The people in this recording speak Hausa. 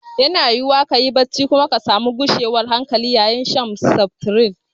Yana yiwuwa ka ji barci kuma za ku iya samun gushewar hankali bayan shan seftirin.